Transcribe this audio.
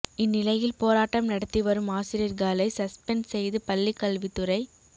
இந்நிலையில் போராட்டம் நடத்தி வரும் ஆசிரியர்களை சஸ்பென்ட் செய்து பள்ளிக்கல்வித்துறை